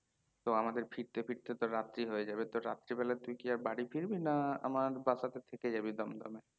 তো আমাদের ফিরতে ফিরতে তো রাত্রি হয়ে যাবে তো রাত্রীবেলায় তুই কি আর বাড়ী ফিরবি না আমার বাসা তে থেকে যাবি দমদম এ?